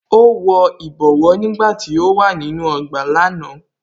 Ó wọ ìbọwọ́ nígbàtí ó wà nínú ọgbà lánàá